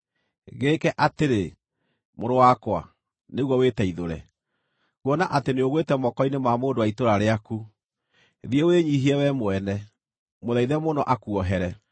gĩĩke atĩrĩ, mũrũ wakwa, nĩguo wĩteithũre, kuona atĩ nĩũgwĩte moko-inĩ ma mũndũ wa itũũra rĩaku: Thiĩ wĩnyiihie wee mwene; mũthaithe mũno akuohere.